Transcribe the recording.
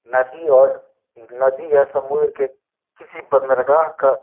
नदी और नदी या समुन्द्र के किसी बन्दरगा का --